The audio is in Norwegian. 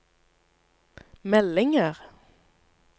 meldinger